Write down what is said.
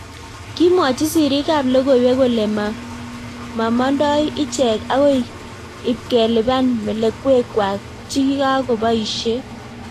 Kimwochii siriik ap logoiwek kolee mamandoi icheek akoi ipkelipaan melekwek kwaak chekikakopaishee